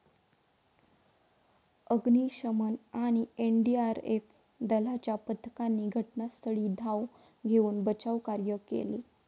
अग्निशमन आणि एनडीआरएफ दलाच्या पथकांनी घटनास्थळी धाव घेऊन बचावकार्य केले.